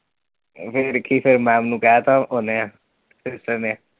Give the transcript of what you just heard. ਫਿਰ ਕਿ, ਫਿਰ ma'am ਨੂੰ ਕਹਿਤਾ ਉਹਨੇ sister ਨੇ